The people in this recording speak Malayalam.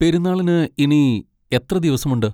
പെരുന്നാളിന് ഇനി എത്ര ദിവസമുണ്ട്?